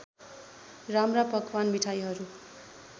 राम्रा पकवान मिठाईहरू